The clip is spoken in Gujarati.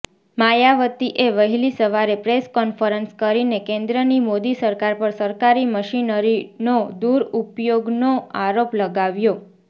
માયાવતીએ વહેલી સવારે પ્રેસ કોન્ફરન્સ કરીને કેન્દ્રની મોદી સરકાર પર સરકારી મશીનરીનો દુરુપયોગનો આરોપ લગાવ્યો